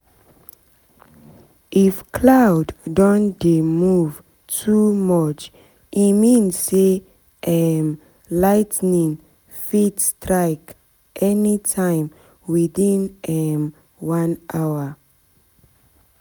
if cloud don dey move too much e mean say um ligh ten ing fit strike anytime within um one hour